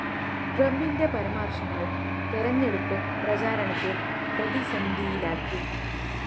ട്രമ്പിന്റെ പരാമര്‍ശങ്ങള്‍ തെരഞ്ഞെടുപ്പ് പ്രചാരണത്തെ പ്രതിസന്ധിയിലാക്കി